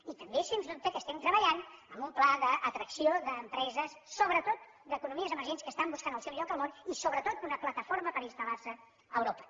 i també és sens dubte que estem treballant en un pla d’atracció d’empreses sobretot d’economies emergents que estan buscant el seu lloc al món i sobretot una plataforma per instal·lar se a europa